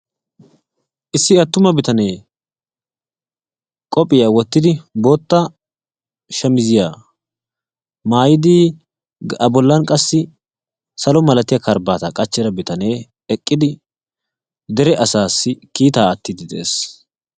issi attumma bitaanee qoophiyaa woottidi bootta shamiziyaa maayidi a boolan qaassi saalo milaatiyaa karbaataa qaachchida biitanee eeqidi asaasi kiitaa aatiidi de'ees.